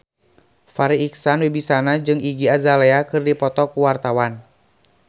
Farri Icksan Wibisana jeung Iggy Azalea keur dipoto ku wartawan